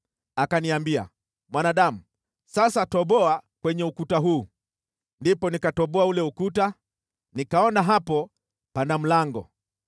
Akaniambia, “Mwanadamu, sasa toboa kwenye ukuta huu.” Ndipo nikatoboa ule ukuta, nikaona hapo pana mlango.